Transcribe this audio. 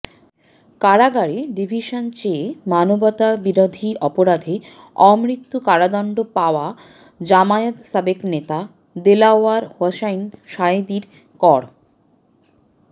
কারাগারে ডিভিশন চেয়ে মানবতাবিরোধী অপরাধে অমৃত্যু কারাদণ্ড পাওয়া জামায়াতের সাবেক নেতা দেলাওয়ার হোসাইন সাঈদীর কর